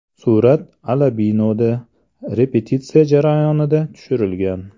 Surat Alabinoda repetitsiya jarayonida tushirilgan.